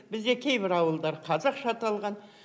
бізде кейбір ауылдар қазақша аталған